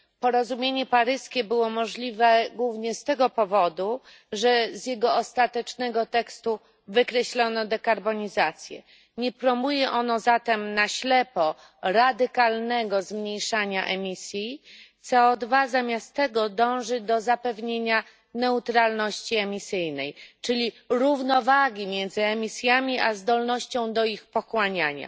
Porozumienie paryskie było możliwe głównie z tego powodu, że z jego ostatecznego tekstu wykreślono dekarbonizację. Nie promuje ono zatem na ślepo radykalnego zmniejszania emisji CO2, zamiast tego dąży do zapewnienia neutralności emisyjnej, czyli równowagi między emisjami a zdolnością do ich pochłaniania.